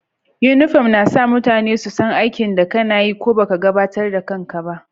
Uniform na sa mutane su san aikin da kana yi ko baka gabatar da kan ka ba.